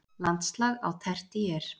Landslag á tertíer